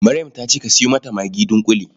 Maryam ta ce ka sayo mata magi dunƙule.